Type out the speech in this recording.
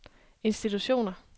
institutioner